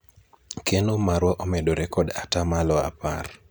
keno marwa omedore kod atamalo apar